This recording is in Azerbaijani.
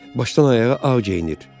Başdan ayağa ağ geyinir.